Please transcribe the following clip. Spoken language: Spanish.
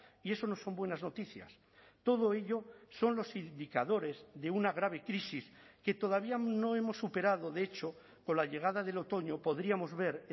y eso no son buenas noticias todo ello son los indicadores de una grave crisis que todavía no hemos superado de hecho con la llegada del otoño podríamos ver